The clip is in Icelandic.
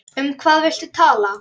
Saltið og malið pipar yfir.